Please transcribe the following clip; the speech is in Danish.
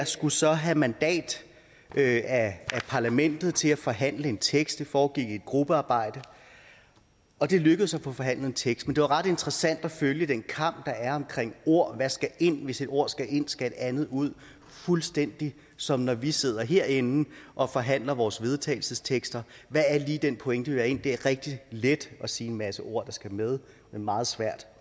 skulle så have mandat af parlamentet til at forhandle en tekst det foregik i et gruppearbejde og det lykkedes at få forhandlet en tekst men det var ret interessant at følge den kamp der er omkring ord hvad skal ind og hvis et ord skal ind skal et andet ud fuldstændig som når vi sidder herinde og forhandler vores vedtagelsestekster hvad er lige den pointe vi vil have ind det er rigtig let at sige en masse ord der skal med men meget svært